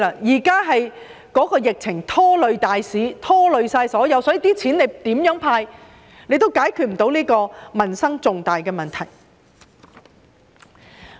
現時疫情拖累大市，所以無論政府如何"派錢"，也無法解決重大的民生問題。